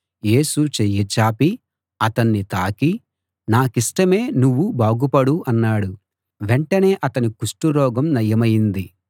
యేసు చెయ్యిచాపి అతణ్ణి తాకి నాకిష్టమే నువ్వు బాగుపడు అన్నాడు వెంటనే అతని కుష్టు రోగం నయమైంది